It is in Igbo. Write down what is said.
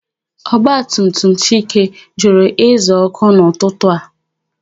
Ọgbatumtum Chike jụrụ ịza oku n'ụtụtụ a.